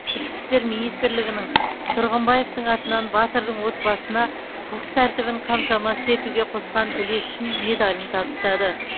ішкі істер министрлігінің тұрғымбаевтың атынан батырдың отбасына құқық тәртібін қамтамасыз етуге қосқан үлесі үшін медалін табыстады